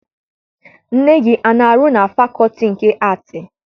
Nne gị ana arụ na fakọọtị nke Aatị?